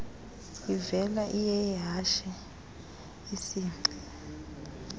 ivela iyeyehashe isingci